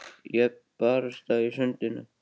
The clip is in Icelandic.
Jöfn barátta í sundinu